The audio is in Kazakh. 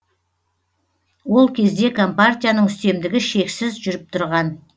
ол кезде компартияның үстемдігі шексіз жүріп тұрған